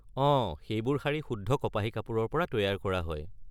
অহ, সেইবোৰ শাৰী শুদ্ধ কপাহী কাপোৰৰ পৰা তৈয়াৰ কৰা হয়।